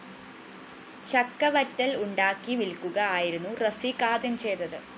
ചക്കവറ്റല്‍ ഉണ്ടാക്കി വില്‍ക്കുക ആയിരുന്നു റഫീക്ക് ആദ്യം ചെയ്തത്